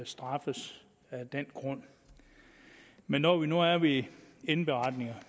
straffet af den grund men når vi nu er ved indberetninger